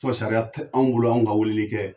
Fo sariya te anw bolo anw ka weeleli kɛ